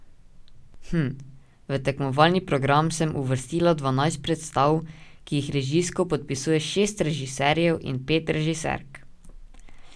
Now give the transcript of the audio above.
Hm, v tekmovalni program sem uvrstila dvanajst predstav, ki jih režijsko podpisuje šest režiserjev in pet režiserk.